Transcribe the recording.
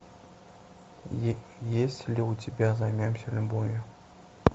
есть ли у тебя займемся любовью